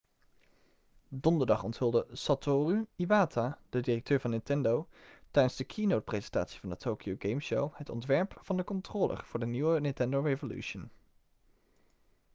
donderdag onthulde satoru iwata de directeur van nintendo tijdens de keynotepresentatie van de tokyo game show het ontwerp van de controller voor de nieuwe nintendo revolution